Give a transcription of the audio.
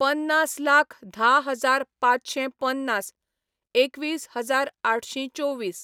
पन्नास लाख धा हजार पांचशें पन्नास, एकवीस हजार आठशी चोवीस